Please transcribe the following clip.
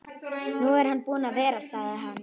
Nú er hann búinn að vera, sagði hann.